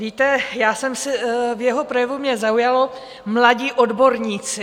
Víte, v jeho projevu mě zaujalo "mladí odborníci".